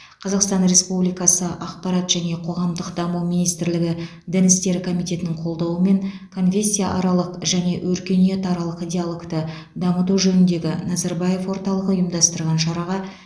қазақстан республикасы ақпарат және қоғамдық даму министрлігі дін істері комитетінің қолдауымен конфессияаралық және өркениетаралық диалогты дамыту жөніндегі назарбаев орталығы ұйымдастырған шараға